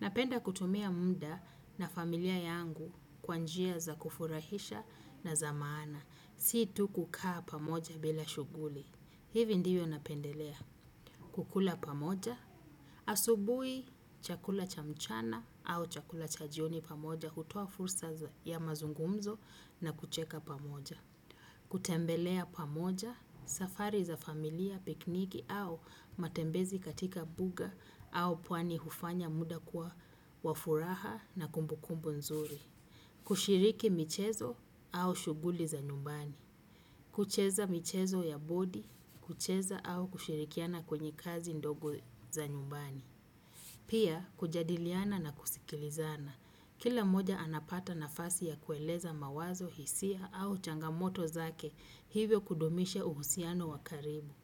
Napenda kutumia munda na familia yangu kwanjia za kufurahisha na za maana. Situ kukaa pamoja bila shuguli. Hivi ndiyo napendelea. Kukula pamoja. Asubui chakula cha mchana au chakula cha jioni pamoja. Kutuo fursa ya mazungumzo na kucheka pamoja. Kutembelea pamoja. Safari za familia, pikniki au matembezi katika mbuga au pwani hufanya muda kwa wafuraha na kumbukumbu nzuri. Kushiriki michezo au shuguli za nyumbani. Kucheza michezo ya bodi, kucheza au kushirikiana kwenye kazi ndogo za nyumbani. Pia, kujadiliana na kusikilizana. Kila moja anapata nafasi ya kueleza mawazo, hisia au changamoto zake hivyo kudumishe uhusiano wakaribu.